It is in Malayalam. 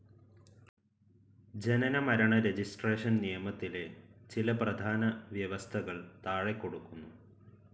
ജനന മരണ രജിസ്ട്രേഷൻ നിയമത്തിലെ ചില പ്രധാന വ്യവസ്ഥകൾ താഴെക്കൊടുക്കുന്നു.